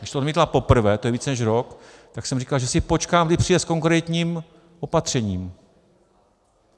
Když to odmítla poprvé, to je více než rok, tak jsem říkal, že si počkám, kdy přijde s konkrétním opatřením.